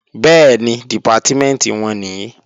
Bẹ́ẹ̀ni, Dìpátímẹ̀ntì wọn nìí